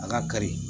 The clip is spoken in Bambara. A ka kari